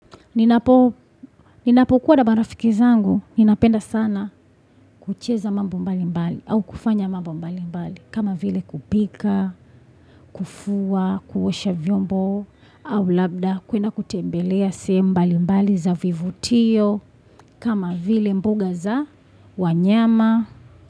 Ninapokuwa na barafiki zangu, ninapenda sana kucheza mambo mbali mbali au kufanya mambo mbali mbali. Kama vile kupika, kufua, kuosha vyombo au labda kuenda kutembelea sehemu mbali mbali za vivutio. Kama vile mbuga za wanyama.